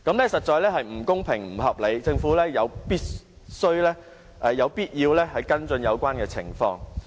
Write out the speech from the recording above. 這實在是不公平、不合理，政府有必要跟進有關情況。